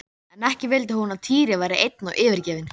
Á þessum sýningum eru mest skúlptúrar úr bronsi.